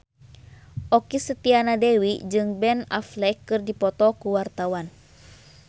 Okky Setiana Dewi jeung Ben Affleck keur dipoto ku wartawan